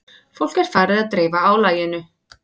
Fólk er farið að dreifa álaginu